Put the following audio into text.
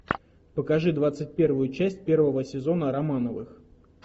покажи двадцать первую часть первого сезона романовых